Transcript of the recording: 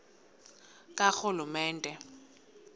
karhulumente